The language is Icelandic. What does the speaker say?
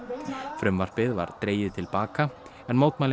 frumvarpið var dregið til baka en mótmælin